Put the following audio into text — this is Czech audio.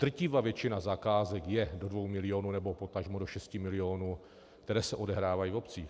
Drtivá většina zakázek je do 2 milionů nebo potažmo do 6 milionů, které se odehrávají v obcích.